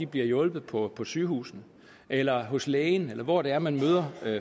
bliver hjulpet på på sygehusene eller hos lægen eller hvor det er man møder